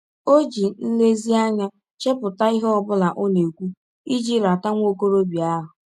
Ọ ji nlezianya chepụta ihe ọ bụla ọ na - ekwụ iji rata nwa ọkọrọbịa ahụ.